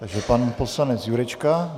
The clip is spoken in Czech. Takže pan poslanec Jurečka.